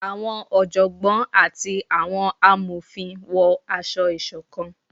awọn ọjọgbọn ati awọn àmofín wọ aṣọ-isokan